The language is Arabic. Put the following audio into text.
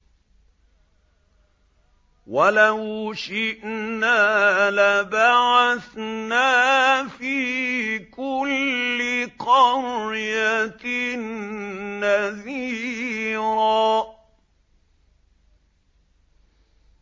وَلَوْ شِئْنَا لَبَعَثْنَا فِي كُلِّ قَرْيَةٍ نَّذِيرًا